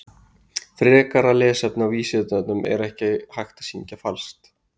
Frekara lesefni á Vísindavefnum Er hægt að syngja falskt?